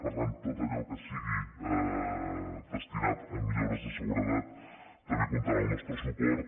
per tant tot allò que sigui destinat a millores de seguretat també comptarà amb el nostre suport